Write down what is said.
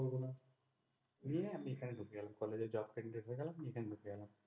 নিয়ে আমি এখানে ভর্তি হলাম। college এ jobcandidate হয়ে গেলাম এখানে ভর্তি হলাম।